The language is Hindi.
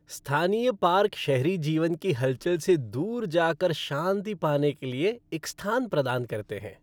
स्थानीय पार्क शहरी जीवन की हलचल से दूर जा कर शांति पाने के लिए एक स्थान प्रदान करते हैं।